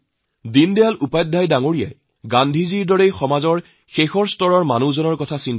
দীনদয়াল উপাধ্যায়ৰ দৰে মহাত্মা গান্ধীয়েও সমাজৰ নিম্নবৰ্গৰ লোকসকলৰ কথা কৈছিল